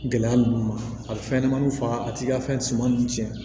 Gɛlɛya ninnu ma a bɛ fɛn ɲɛnɛmaniw faga a t'i ka fɛn suman ninnu tiɲɛ